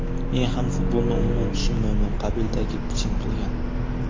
Men ham futbolni umuman tushunmayman”, qabilida piching qilgan .